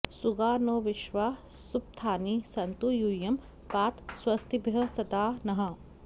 सुगा नो विश्वा सुपथानि सन्तु यूयं पात स्वस्तिभिः सदा नः